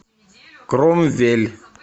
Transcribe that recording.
кромвель